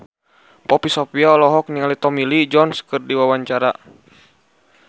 Poppy Sovia olohok ningali Tommy Lee Jones keur diwawancara